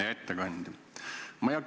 Hea ettekandja!